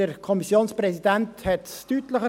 Der Kommissionspräsident hat es deutlich gesagt.